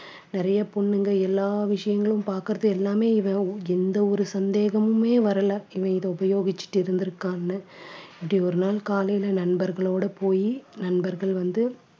நிறைய பொண்ணுங்க எல்லா விஷயங்களும் பாக்குறது எல்லாமே இவன் எந்த ஒரு சந்தேகமுமே வரல இவன் இதை உபயோகிச்சுட்டு இருந்திருக்கான்னு இப்படி ஒரு நாள் காலையில நண்பர்களோட போயி நண்பர்கள் வந்து